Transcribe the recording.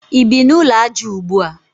I bi n'ụlọ aja ugbua?